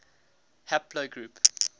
haplogroup